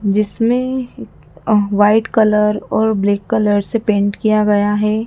जिसमें अ white colour और ब्लैक कलर से पेंट किया गया है।